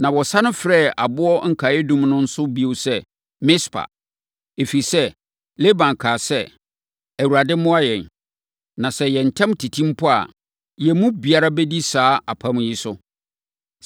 Na wɔsane frɛ aboɔ nkaeɛdum no nso bio sɛ, “Mispa” ɛfiri sɛ, Laban kaa sɛ, “ Awurade mmoa yɛn, na sɛ yɛn ntam tete mpo a, yɛn mu biara bɛdi saa apam yi so.